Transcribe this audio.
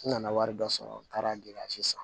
N nana wari dɔ sɔrɔ n taara san